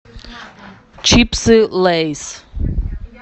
чипсы лейс